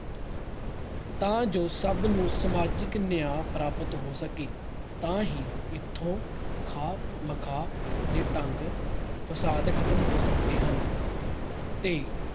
ਤਾਂ ਜੋ ਸਭ ਨੂੰ ਸਮਾਜਿਕ ਨਿਆਂ ਪ੍ਰਾਪਤ ਹੋ ਸਕੇ ਤਾਂ ਹੀ ਇੱਥੋਂ ਖਾਮ-ਮਖਾਹ ਦੇ ਢੰਗ ਫਸਾਦ ਖਤਮ ਹੋ ਸਕਦੇ ਹਨ ਤੇ